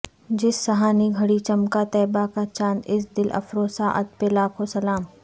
جس سہانی گھڑی چمکا طیبہ کا چاند اس دل افروز ساعت پہ لاکھوں سلام